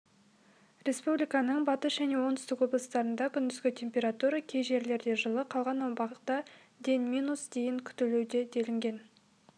республиканың батыс және оңтүстік облыстарында күндізгі температура кей жерлерде жылы қалған аумақта денминус дейін күтілуде делінген